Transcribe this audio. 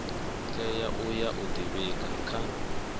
tea uya u ḓivhiga kha